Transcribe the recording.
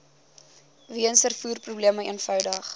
weens vervoerprobleme eenvoudig